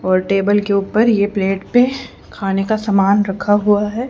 और टेबल के ऊपर ये प्लेट पे खाने का समान रखा हुआ है।